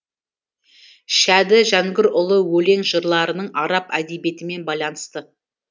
шәді жәнгірұлы өлең жырларының араб әдебиетімен байланысы